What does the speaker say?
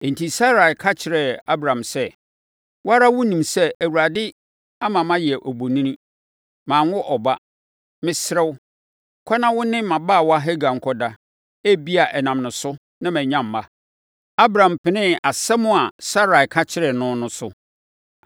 enti Sarai ka kyerɛɛ Abram sɛ, “Wo ara wonim sɛ Awurade ama mayɛ obonini; manwo ɔba! Mesrɛ wo, kɔ na wo ne mʼabaawa Hagar nkɔda; ebia ɛnam ne so na manya mma.” Abram penee asɛm a Sarai ka kyerɛɛ no no so.